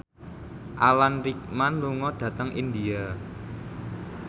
Alan Rickman lunga dhateng India